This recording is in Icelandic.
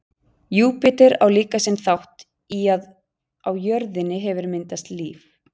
júpíter á líka sinn þátt í að á jörðinni hefur myndast líf